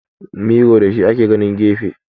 Miro da shi ake ganin gefe